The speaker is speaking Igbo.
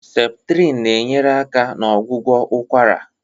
Septrịn na-enyere aka na ọgwụgwọ ụkwara.